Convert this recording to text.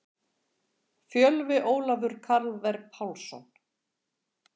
Fjölvi Ólafur Karvel Pálsson.